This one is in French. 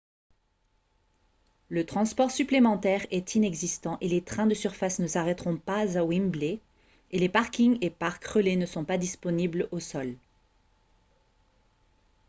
le transport supplémentaire est inexistant et les trains de surface ne s'arrêteront pas à wembley et les parkings et parcs relais ne sont pas disponibles au sol